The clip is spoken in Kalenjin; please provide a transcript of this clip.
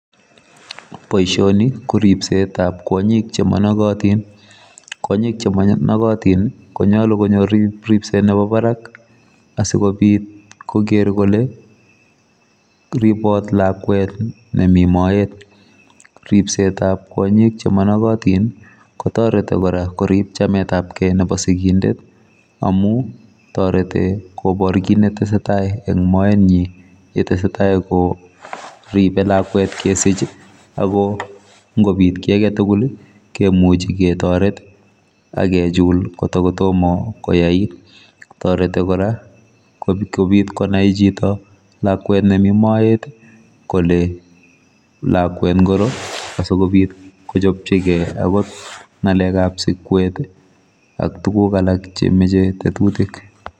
Boisioni ko ripset ab kwanyiik che managatiin , kwanyiik che managatiin ii ko nyaluu konyoor ripset nebo barak asikobiit koger kole ripaat lakwet nemii moet ripset ab kwanyiik che managatiin ii kotaretii kora koriip chametaab gei nebo singindet amuu taretii kobwatuu kiit ne tesetai en moenyiin yeteserai koripe lakwet kesiich ii ago ngobiit kiy age tugul kemuchei ketareteen agechuul kotako tomah koyaait taretii kora kobiit konai chitoo lakwet nemii moet kole lakwet ngiroo asikobiit kochapchikei ako ngalek ab sikweet ii ak tuguuk alaak che machei tetutiik.